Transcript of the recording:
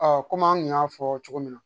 kɔmi an kun y'a fɔ cogo min na